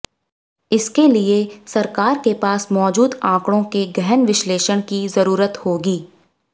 इसके लिए सरकार के पास मौजूद आंकड़ों के गहन विश्लेषण की जरूरत होगी